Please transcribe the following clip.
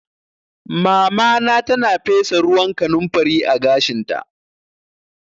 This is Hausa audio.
Mamana tana fesa ruwan kanumfari a gashinta